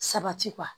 Sabati kuwa